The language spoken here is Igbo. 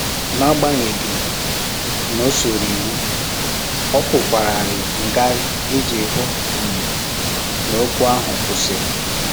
N'agbanyeghị na o soro iwu, ọ kwụkwararị ngarị iji hụ um n'okwu ahụ kwụsịrị